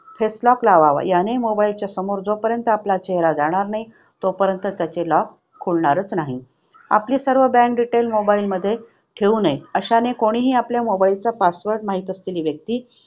Face lock लावावा. याने mobile च्या समोर जोपर्यंत आपला चेहरा जाणार नाही, तोपर्यंत त्याचे lock खुलणारच नाही. आपले सर्व bank detailsmobile मध्ये ठेवू नये. अशाने कोणीही आपल्या mobile चा password माहित असलेली व्यक्ती